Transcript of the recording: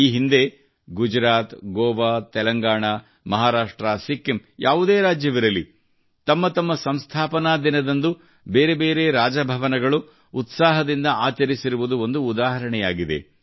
ಈ ಹಿಂದೆ ಗುಜರಾತ್ ಗೋವಾ ತೆಲಂಗಾಣಾ ಮಹಾರಾಷ್ಟ್ರ ಸಿಕ್ಕಿಂ ಯಾವುದೇ ರಾಜ್ಯವಿರಲಿ ತಮ್ಮ ತಮ್ಮ ಸಂಸ್ಥಾಪನಾ ದಿನದಂದು ಬೇರೆ ಬೇರೆ ರಾಜಭವನಗಳು ಉತ್ಸಾಹದಿಂದ ಆಚರಿಸಿರುವುದು ಒಂದು ಉದಾಹರಣೆಯಾಗಿದೆ